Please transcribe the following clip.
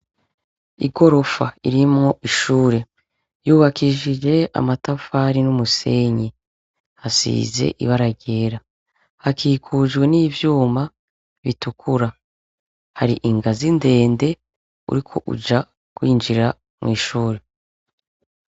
Igorofa ririmwo ishure ryubakishijwe amatafari n'umusenyi, hasize ibara ryera. Hakikujwe n'ivyuma bitukura. Hari ingazi ndende uriko uja kwinjira mw'ishure.